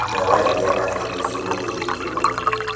Ndawa irĩa aheirwo nĩcimũteithĩtie mũno.